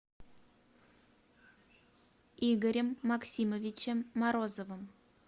игорем максимовичем морозовым